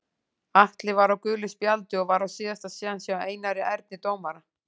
Atli var á gulu spjaldi og var á síðasta séns hjá Einari Erni dómara.